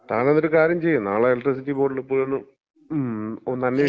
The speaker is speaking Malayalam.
ങ്ങും. താനതൊരു കാര്യം ചെയ്യ്, നാളെ എലക്ട്രിസിറ്റി ബോർഡില് പോയി ഒന്ന് അന്വേഷിക്ക്